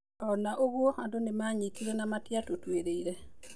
Ona ũguo andũ nĩmanyitire na matiatũtuĩrĩire.